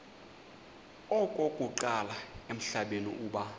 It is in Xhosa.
okokuqala emhlabeni uba